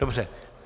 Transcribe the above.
Dobře.